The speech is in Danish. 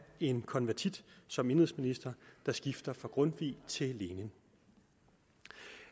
en konvertit som indenrigsminister der skifter fra grundtvig til lenin